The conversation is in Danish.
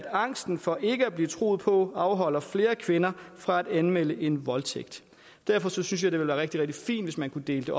angsten for ikke at blive troet på afholder flere kvinder fra at anmelde en voldtægt derfor synes jeg det ville være rigtig rigtig fint hvis man kunne dele